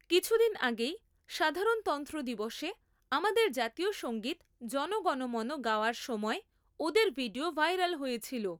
কিছুদিন আগেই সাধারণতন্ত্র দিবসে আমাদের জাতীয় সংগীত জণ গণ মন গাওয়ার সময় ওদের ভিডিও ভাইরাল হয়েছিল।